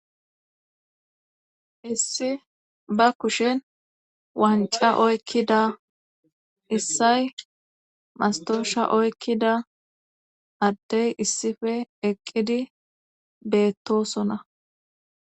issi ba kushen wancca oykkida issay mastowasha oykkida addey issippe eqqidi beettosona.